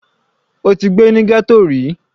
Ó ti gbé ní ghetto ríi.